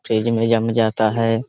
Fridge में जम जाता है ।